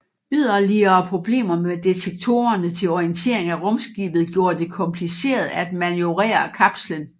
Yderligere problemer med detektorerne til orientering af rumskibet gjorde det kompliceret at manøvrere kapslen